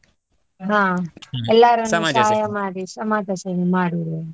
ಹಾ ಎಲ್ಲರನ್ನೂ ಸಹಾಯ ಮಾಡಿ ಸಮಾಜಸೇವೆ ಮಾಡುವವರು.